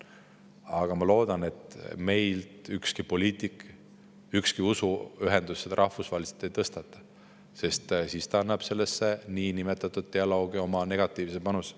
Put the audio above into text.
Aga ma loodan, et meilt ükski poliitik ega ükski usuühendus seda rahvusvaheliselt ei tõstata, sest siis ta annab sellesse niinimetatud dialoogi oma negatiivse panuse.